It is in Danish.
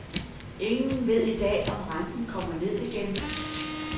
Ingen ved i dag om renten kommer ned igen.